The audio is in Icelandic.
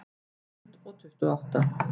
Tvö þúsund tuttugu og átta